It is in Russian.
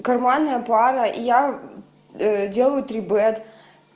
карманная пара я делаю три бет